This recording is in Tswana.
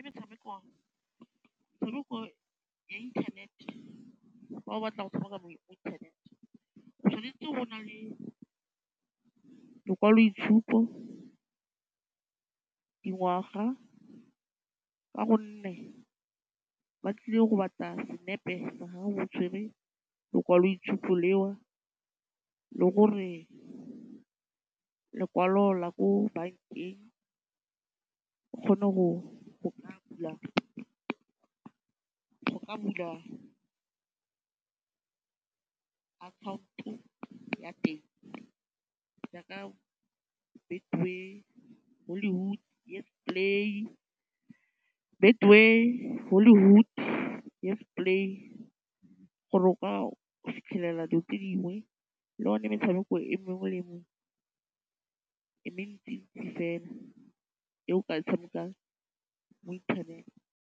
Metshameko ya inthanete, fa o batla go tshameka mo internet o tshwanetse go nna le lekwaloitshupo, dingwaga, ka gonne ba tlile go batla senepe sa gago o tshwerwe lekwaloitshupo leo, le gore lekwalo la ko bankeng o kgone go ka bula account-o ya teng jaaka Betway, Hollywood, YesPlay, gore o ka fitlhelela dilo tse dingwe, le yone metshameko e mengwe e mentsintsi fela e o ka e tshamekang mo internet.